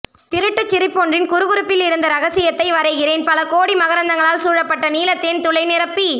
திருட்டுச் சிரிப்பொன்றின் குறுகுறுப்பிலிருந்த ரகசியத்தை வரைகிறேன் பலகோடி மகரந்தங்களால் சூழப்பட்ட நீலத்தேன் துளை நிரம்பி